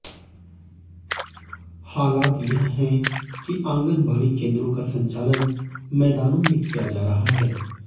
हालात यह हैं कि आंगनबाड़ी केंद्रों का संचालन मैदानों में किया जा रहा है